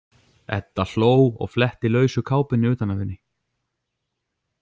Edda hló og fletti lausu kápunni utan af henni.